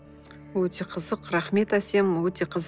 өте қызық рахмет әсем өте қызық